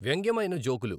వ్యంగ్యమైన జోకులు